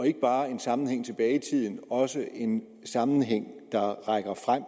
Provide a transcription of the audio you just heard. ikke bare en sammenhæng tilbage i tiden også en sammenhæng der rækker frem